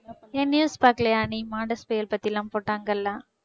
ஏன் news பாக்கலையா நீ மான்டெஸ் புயல் பத்தில்லாம் போட்டாங்கல்ல